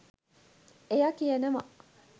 එයා කියනවා